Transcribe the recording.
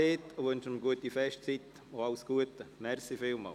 Wir fahren am Nachmittag mit dem Raumplanungsbericht weiter.